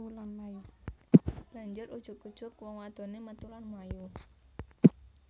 Banjur ujug ujug wong wadoné metu lan mlayu